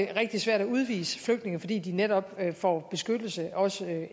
det rigtig svært at udvise flygtninge fordi de netop får beskyttelse også i